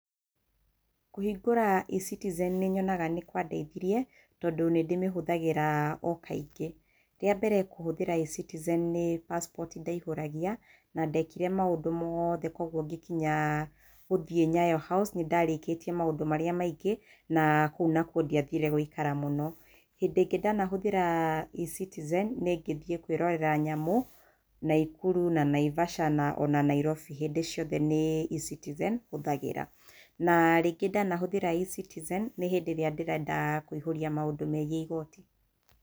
Kũhingũra eCitizen nĩ nyonaga nĩ kwa ndĩithirie tondũ nĩ ndĩmĩhũthagĩra o kaingĩ rĩa mbere kũhũthĩra eCitizen nĩ Passport ndaihũragia na ndekire maũndũ moothe kwoguo ngĩkinya gũthiĩ Nyayo House nĩndarĩkĩtie maũndũ marĩa maingĩ na kũu nakuo ndiathire gũikara mũno, hĩndĩ ĩngĩ ndanahũthĩra eCitizen nĩ ngĩthiĩĩ kwĩrorera nyamũ Naikuru na Naivasha na ona Nairobi hĩndĩ ciothe nĩ eCitizenhũthagĩra na rĩngĩ ndahũthĩra eCitizen nĩ hĩndĩ ĩrĩa ndĩrenda kũiyũria maũndũ megiĩ igooti.